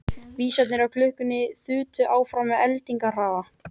Vísarnir á klukkunni þutu áfram með eldingarhraða.